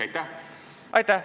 Aitäh!